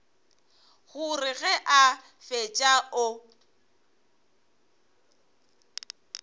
gore ge a fetša o